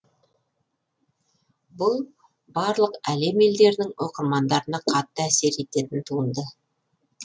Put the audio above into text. бұл барлық әлем елдерінің оқырмандарына қатты әсер ететін туынды